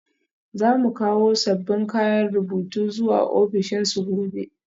Za mu kawo sabbin kayan rubutu zuwa ofishinsu gobe